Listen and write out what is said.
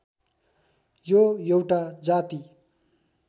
यो एउटा जाति